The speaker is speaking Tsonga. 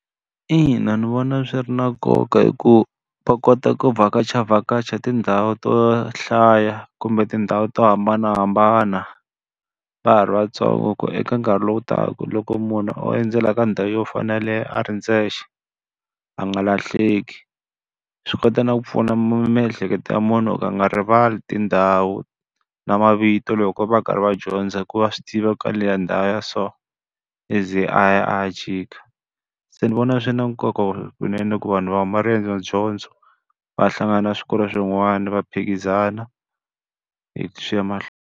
Ina ndzi vona swi ri na nkoka hikuva va kota ku vhakachavhakacha tindhawu to hlaya kumbe tindhawu to hambanahambana va ha ri vatsongo ku eka nkarhi lowu taka loko munhu o endzela ka ndhawu yo fana na yeleyo a ri ndzexe, a nga lahleki. Swi kota na ku pfuna miehleketo ya munhu ku a nga rivali tindhawu na mavito loko va karhi va dyondza hi ku va a swi tiva ku ka ndhawu leya so, i ze a ya a ya jika. Se ndzi vona swi na nkoka swinene ku vanhu va huma riendzodyondzo va ya hlangana swikolo swin'wana va phikizana swi ya mahlweni.